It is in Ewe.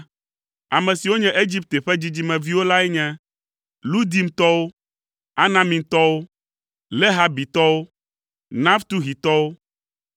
Ame siwo nye Egipte ƒe dzidzimeviwo lae nye: Ludimtɔwo, Anamimtɔwo, Lehabitɔwo, Naftuhitɔwo,